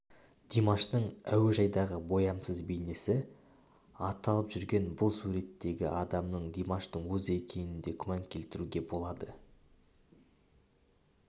димаштың әуежайдағы боямасыз бейнесі аталып жүрген бұл суреттегі адамның димаштың өзі екеніне де күмән келтіруге болады